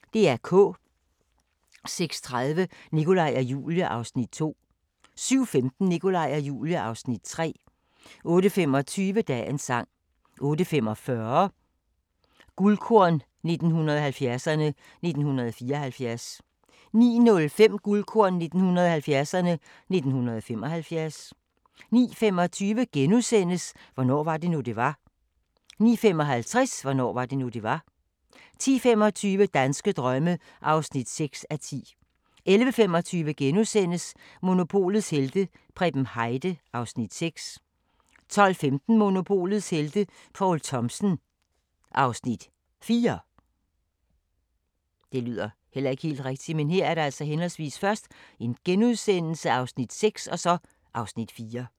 06:30: Nikolaj og Julie (Afs. 2) 07:15: Nikolaj og Julie (Afs. 3) 08:25: Dagens sang 08:45: Guldkorn 1970'erne: 1974 09:05: Guldkorn 1970'erne: 1975 09:25: Hvornår var det nu, det var? * 09:55: Hvornår var det nu, det var? 10:25: Danske drømme (6:10) 11:25: Monopolets helte - Preben Heide (Afs. 6)* 12:15: Monopolets helte - Poul Thomsen (Afs. 4)